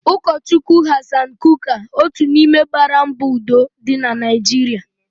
Ụkọ Chukwu Hassan Kuka otu n'ime gbaara mbọ udo dị na Naijiria.